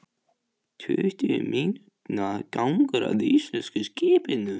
Tuttugu mínútna gangur að íslenska skipinu.